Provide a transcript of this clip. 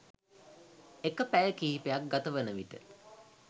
එක පැය කිහිපයක් ගතවන විට